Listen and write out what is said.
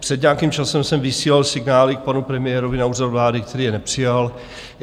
Před nějakým časem jsem vysílal signály k panu premiérovi na Úřad vlády, který je nepřijal.